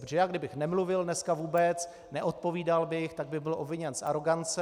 Protože já kdybych nemluvil dneska vůbec, neodpovídal bych, tak bych byl obviněn z arogance.